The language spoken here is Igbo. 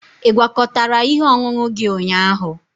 Ị gwakọtara ihe ọṅụṅụ gị ụnyaahụ?